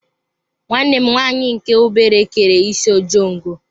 Nwanne m nwanyị nke obere kere isi ojongo.